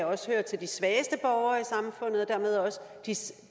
også hører til de svageste borgere